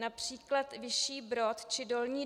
Například Vyšší Brod či Dolní